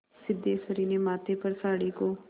सिद्धेश्वरी ने माथे पर साड़ी को